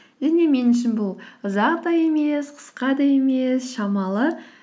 және мен үшін бұл ұзақ та емес қысқа да емес шамалы